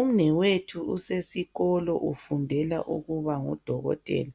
Umnewethu usesikolo ufundela ukuba ngudokotela